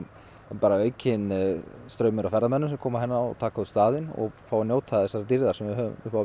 bara aukinn straumur af ferðamönnum sem að koma hingað og taka út staðinn og fá að njóta þessarar dýrðar sem við höfum upp á